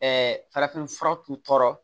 farafin fura tun tɔɔrɔ